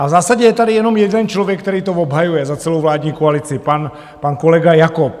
A v zásadě je tady jenom jeden člověk, který to obhajuje za celou vládní koalici, pan kolega Jakob.